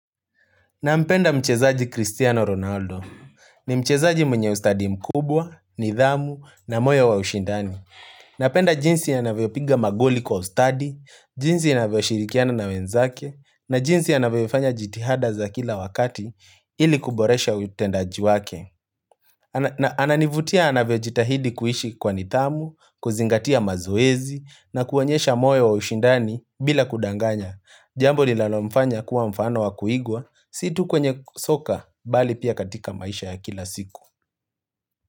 Nampenda mchezaji Cristiano Ronaldo. Ni mchezaji mwenye ustadi mkubwa, nidhamu, na moyo wa ushindani. Napenda jinsi anavyopiga magoli kwa ustadi, jinsi anavyoshirikiana na wenzake, na jinsi anavyofanya jitihada za kila wakati ili kuboresha utendaji wake. Na ananivutia anavyojitahidi kuishi kwa nithamu, kuzingatia mazoezi, na kuonyesha moyo wa ushindani bila kudanganya. Jambo linalomfanya kuwa mfano wa kuigwa, si tu kwenye soka, bali pia katika maisha ya kila siku.